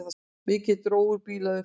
Mikið dró úr bílaumferð